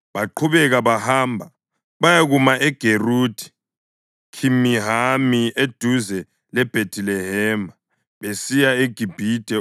Baqhubeka bahamba, bayakuma eGeruthi Khimihami eduze leBhethilehema, besiya eGibhithe